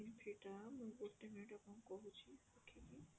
ସେଇଟା ଗୋଟେ minute ମୁଁ ଆପଣଙ୍କୁ କହୁଛି ଦେଖିକି